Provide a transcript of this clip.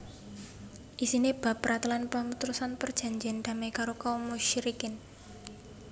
Isiné bab pratélan pamutusan perjanjèn damai karo kaum musyrikin